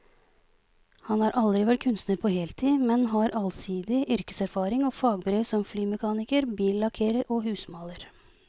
Han har aldri vært kunstner på heltid, men har allsidig yrkeserfaring og fagbrev som flymekaniker, billakkerer og husmaler.